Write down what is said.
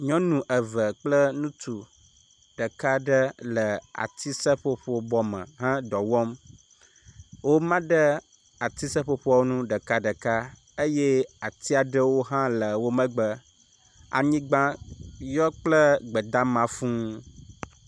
Nyɔnu eve kple ŋutsu ɖeka ɖe le ati seƒoƒo bɔ me he dɔ wɔm. wo ma ɖe ati seƒoƒoa nu ɖekaɖeka eye atia ɖewo hã le wo megbe. Anyigba yɔ kple gbedama fuu.